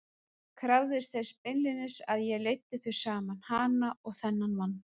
Krafðist þess beinlínis að ég leiddi þau saman, hana og þennan mann!